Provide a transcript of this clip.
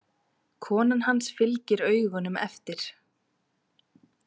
Konan hans fylgir augunum eftir.